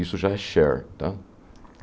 Isso já é share, né?